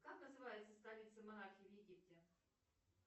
как называется столица монархии в египте